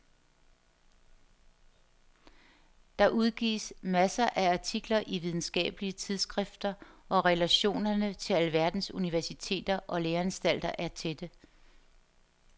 Der udgives masser af artikler i videnskabelige tidsskrifter og relationerne til alverdens universiteter og læreanstalter er tætte.